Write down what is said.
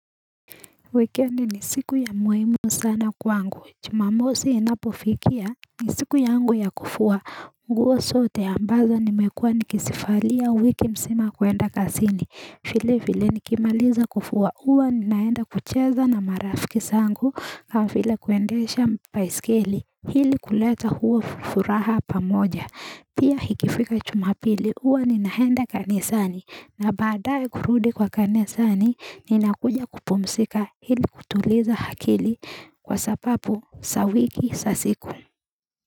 Weekendi ni siku ya muhimu sana kwangu jumamosi inapofikia ni siku yangu ya kufua nguo sote ambazo nimekuwa nikisivalia wiki msima kuenda kasini vile vile nikimaliza kufua uwa ninaenda kucheza na marafiki sangu kama vile kuendesha mpaiskeli hili kuleta huo furaha pamoja pia hikifika jumapili huwa ninaenda kani sani na baadae kurudi kwa kani sani nina kuja kupumsika hili kutuliza hakili kwa sapapu sawiki sasiku.